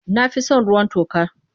Na fi son ruwan toka.